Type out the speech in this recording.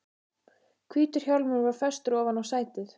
Hvítur hjálmur var festur ofan á sætið.